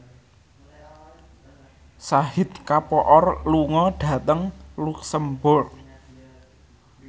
Shahid Kapoor lunga dhateng luxemburg